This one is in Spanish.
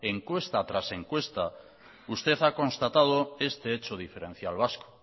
encuesta tras encuesta usted ha constatado este hecho diferencial vasco